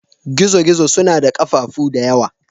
Gizo-gizo suna da ƙafafu da yawa.